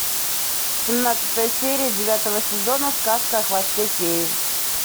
семнадцатая серия девятого сезона сказка о хвосте феи